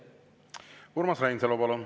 Urmas Reinsalu, palun!